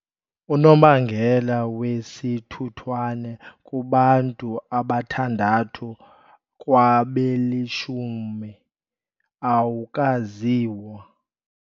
Unobangela wesithuthwane kubantu abathandathu kwabelishumi awukaziwa.